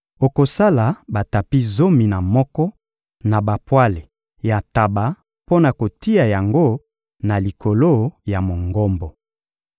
Okosala batapi zomi na moko na bapwale ya ntaba mpo na kotia yango na likolo ya Mongombo.